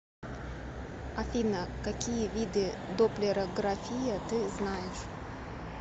афина какие виды допплерография ты знаешь